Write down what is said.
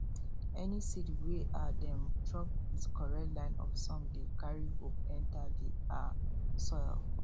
any seed wey um dem drop with correct line of song dey carry hope enter the um soil